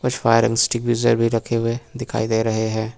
कुछ fire extinguisher भी रखे हुए दिखाई दे रहे है।